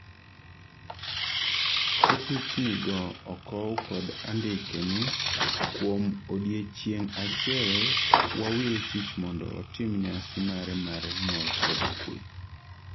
ka pichni go okow kod andike ni "kuom odiochieng' achiel wawil tich mondo otim nyasi mare mar nyuol kod kwe